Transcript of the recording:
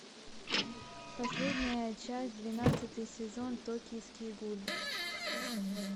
последняя часть двенадцатый сезон токийский гуль